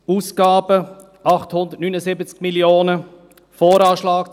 Ausgaben: 879 Mio. Franken;